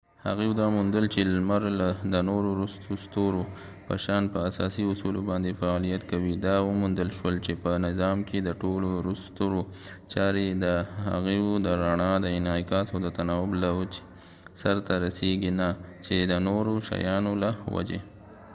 هغوۍ دا وموندل چې لمر د نورو ستورو په شان په اساسي اصولو باندې فعالیت کوي دا وموندل شول چې په نظام کې د ټولو ستورو چارې د هغوۍ د رڼا د انعکاس او تناوب له وجې سرته رسیږي نه چې د نورو شیانو له وجې